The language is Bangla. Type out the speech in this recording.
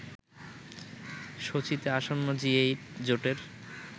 সোচিতে আসন্ন জি-এইট জোটের